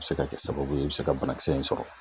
A be se ka kɛ sababu ye, i be se ka banakisɛ in sɔrɔ.